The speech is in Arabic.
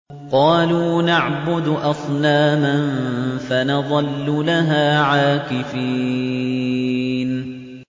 قَالُوا نَعْبُدُ أَصْنَامًا فَنَظَلُّ لَهَا عَاكِفِينَ